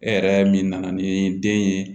E yɛrɛ min nana ni den ye